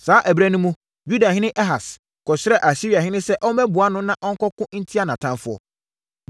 Saa ɛberɛ no mu, Yudahene Ahas kɔsrɛɛ Asiriahene sɛ ɔmmɛboa no na ɔnkɔko ntia nʼatamfoɔ.